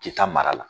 Kita mara la